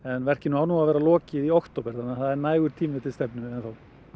en verkinu á að vera lokið í október þannig að það er nægur tími til stefnu enn þá